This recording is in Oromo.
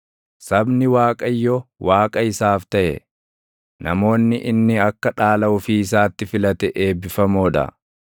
Sabni Waaqayyo Waaqa isaaf taʼe, namoonni inni akka dhaala ofii isaatti filate eebbifamoo dha.